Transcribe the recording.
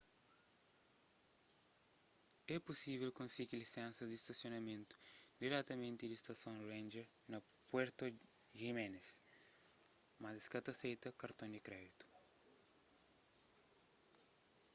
é pusível konsigi lisensas di stasionamentu diretamenti di stason ranger na puerto jiménez mas es ka ta aseita karton di kréditu